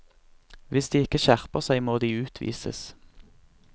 Hvis de ikke skjerper seg, må de utvises.